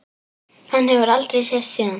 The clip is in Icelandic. Hann hefur aldrei sést síðan.